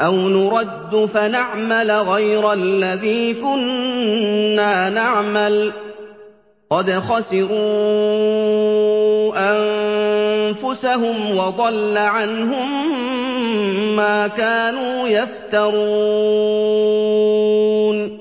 أَوْ نُرَدُّ فَنَعْمَلَ غَيْرَ الَّذِي كُنَّا نَعْمَلُ ۚ قَدْ خَسِرُوا أَنفُسَهُمْ وَضَلَّ عَنْهُم مَّا كَانُوا يَفْتَرُونَ